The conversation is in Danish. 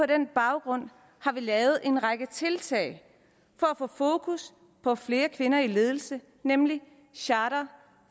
den baggrund har vi lavet en række tiltag for at få fokus på flere kvinder i ledelse nemlig charter